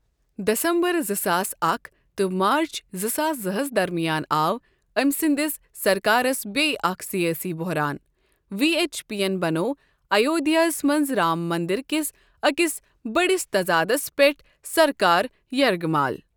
دسمبر زٕ ساس اکھ تہٕ مارٕچ زٕ ساس زٕ ہس درمِیان آو أمۍ سٕنٛدِس سرکارس بیٚیہِ اَکھ سِیٲسی بۄہران وی اٮ۪چ پی ین بَنوو آیودِھیایہِ ہس منٛز رام منٛدرٕ کِس أکِس بٔڑِس تضادس پٮ۪ٹھ سرکار یرغٕمال